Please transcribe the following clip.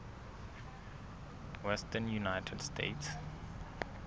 western united states